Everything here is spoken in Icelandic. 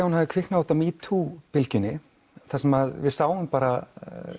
hún hafi kviknað út frá metoo bylgjunni þar sem við sáum bara